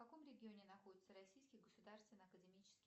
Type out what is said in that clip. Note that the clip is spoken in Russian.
в каком регионе находится российский государственный академический